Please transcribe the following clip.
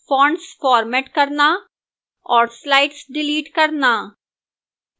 fonts format करना और slides delete करना